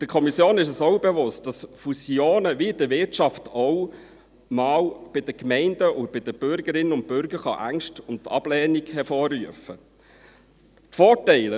Der Kommission ist es auch bewusst, dass Fusionen, wie in der Wirtschaft auch, bei den Gemeinden und bei den Bürgerinnen und Bürgern Ängste und Ablehnung hervorrufen können.